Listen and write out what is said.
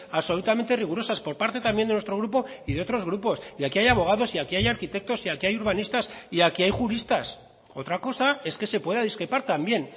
absolutamente rigurosas por parte también de nuestro grupo y de otros grupos y aquí hay abogados y aquí hay arquitectos y aquí hay urbanistas y aquí hay juristas otra cosa es que se pueda discrepar también